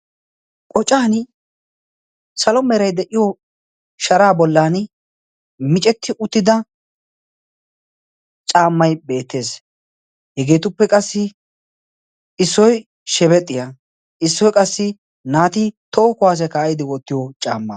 qocan salo merai de7iyo sharaa bollan micetti uttida caammai beettees. hegeetuppe qassi issoi shebexxiyaa issoi qassi naati tookuwaaseekka aidi wottiyo caamma.